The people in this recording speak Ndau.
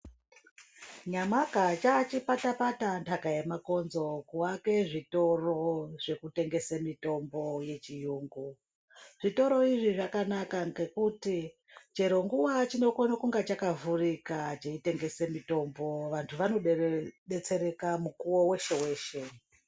Nyamaka chaachipata-pata ntaka yemakonzo kuake zvitoro zvekutengese mitombo yechiyungu. Zvitoro izvi zvakanaka ngekuti chero nguva chinokone kunga chakavhurika cheitengese mutombo. Vantu vanodetsereka mukuwo weshe-weshe.